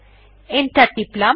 enter টিপলাম